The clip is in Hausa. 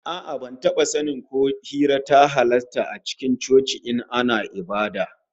A'a, ban taba sanin ko hira ta halasta a cikin coci ba in ana ibada